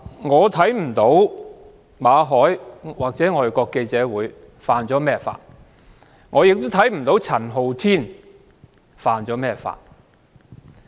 我不知道馬凱或外國記者會觸犯了甚麼法例，也不知道陳浩天觸犯了甚麼法例。